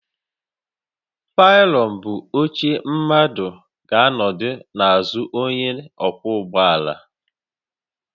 Pilion bụ oche mmadụ ga anọdụ n'azụ onye ọkwọ ụgbọ ala